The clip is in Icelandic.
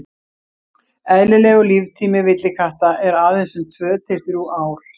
Eðlilegur líftími villikatta er aðeins um tvö til þrjú ár.